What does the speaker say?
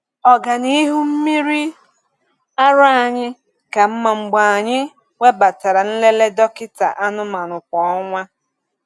Ọganihu mmiri ara anyị ka mma mgbe anyị webatara nlele dọkịta anụmanụ kwa ọnwa.